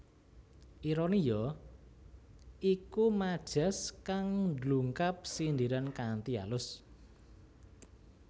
Ironi ya iku majas kang ndungkap sindiran kanthi alus